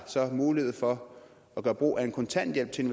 mulighed for at gøre brug af en kontanthjælp til